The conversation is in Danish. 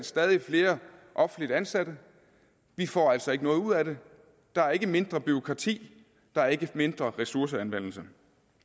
stadig flere offentligt ansatte vi får altså ikke noget ud af det der er ikke mindre bureaukrati der er ikke mindre ressourceanvendelse